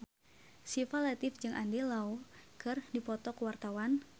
Syifa Latief jeung Andy Lau keur dipoto ku wartawan